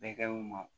Bɛɛ kɛɲi u ma